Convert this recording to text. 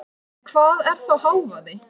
En hvað er þá hávaði?